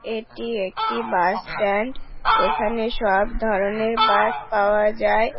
এটি একটি bus stand এখানে সব ধরণের বাস পাওয়া যায়।